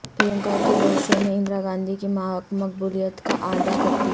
پرینکا کے road show نے اندرا گاندھی کی مقبولیت کا اعادہ کردیا